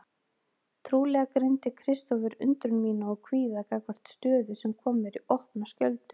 Trúlega greindi Kristófer undrun mína og kvíða gagnvart stöðu sem kom mér í opna skjöldu.